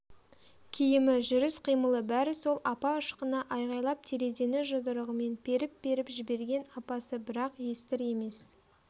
киімі жүріс-қимылы бәрі сол апа ышқына айғайлап терезені жұдырығымен періп-періп жіберген апасы бірақ естір емес